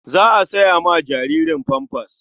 Za a saya ma jaririn famfas.